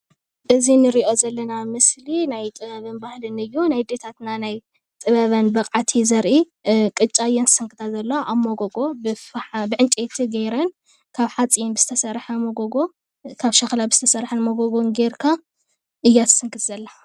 እዚ ንሪኦ ዘለና ምስሊ ናይ ጥበብን ባህልን እዪ ። ናይ ኣዴታትና ናይ ጥበበን ብቅዓት እዩ ዘርኢ አ ቅጫ እየን ዝስክታ ዘለዋ ኣብ መንጎጎ ብዕንጨይቲ ገይረን ካብ ዕንጨይቲ ዝተሰርሐን ካብ ሸኽላ ዝተሰርሐን መጎጎ እያ ትስንክት ዘላ።